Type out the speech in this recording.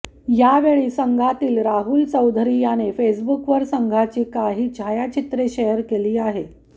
यावेळी संघातील राहुल चौधरी याने फेसबुकवर संघाची काही छायाचित्र शेअर केली आहे